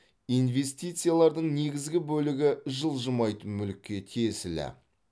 инвестициялардың негізгі бөлігі жылжымайтын мүлікке тиесілі